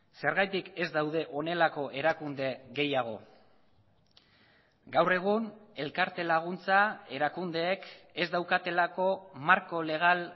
zergatik ez daude honelako erakunde gehiago gaur egun elkarte laguntza erakundeek ez daukatelako marko legal